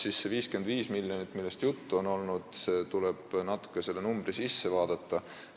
Juttu on olnud 55 miljonist, aga tuleb natuke selle arvu sisse vaadata.